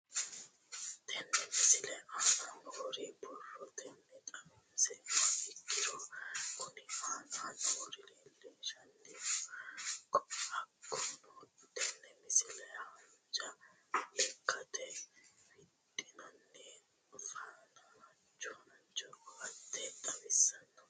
Tenne misile aana noore borrotenni xawisummoha ikirro kunni aane noore leelishano. Hakunno tinni misile haanja lekkate wodhinanni fanancho ko'atte xawissanno.